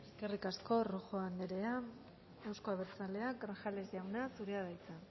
eskerrik asko rojo anderea euzko abertzaleak grajales jauna zurea da hitza